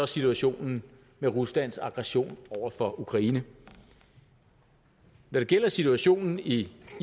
situationen med ruslands aggression over for ukraine når det gælder situationen i